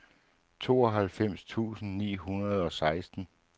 tooghalvfems tusind ni hundrede og seksten